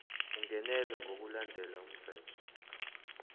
ungenelwe ngokulandela umthetho